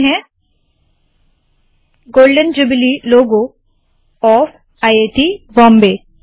golden jubilee logo of IIT Bombay golden jubilee logo of I I T Bombay